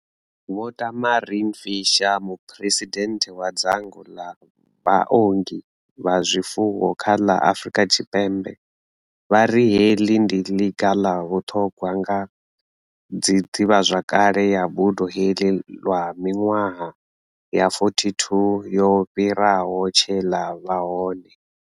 Vho Tamarin Fisher, muphuresidennde wa dzangano ḽa vhaongi vha zwifuwo kha ḽa Afrika Tshipembe, vha ri heḽi ndi ḽiga ḽa vhuṱhogwa nga ḓivhazwakale ya buḓo heḽi lwa miṅwaha ya 42 yo fhiraho tshe ḽa vha hone.